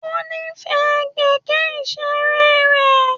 Ó nífẹ̀ẹ́ kẹ̀kẹ́ ìṣeré rẹ̀.